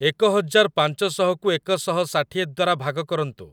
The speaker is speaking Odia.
ଏକ ହଜାର ପାଞ୍ଚ ଶହକୁ ଏକ ଶହ ଷାଠିଏ ଦ୍ୱାରା ଭାଗ କରନ୍ତୁ